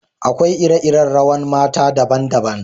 Akwai iri-iri rawan mata daban-daban.